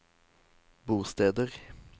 bosteder